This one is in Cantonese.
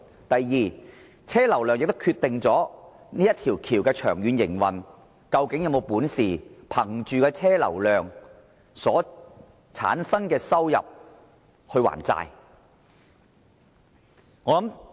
第二，車流量也是決定大橋長遠營運的其中一項因素，例如大橋能否倚靠車流量產生的收入還債。